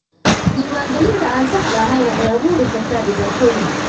Diiwaangelinta aan saxda ahayn waxay abuuri kartaa dhibaatooyin.